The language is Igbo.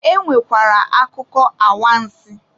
E nwekwara akụkọ awansị.